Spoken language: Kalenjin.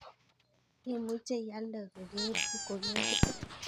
Imuche ialde kokebute.